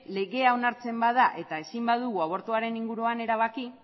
legea onartzen bada eta ezin badugu abortuaren inguruan erabaki